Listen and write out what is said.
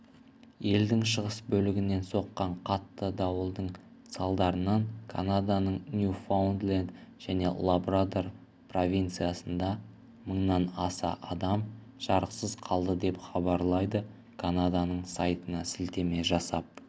елдің шығыс бөлігінен соққан қатты дауылдың салдарынан канаданың нью-фаундленд және лабрадор провинциясында мыңнан аса адам жарықсыз қалды деп хабарлайды канаданың сайтына сілтеме жасап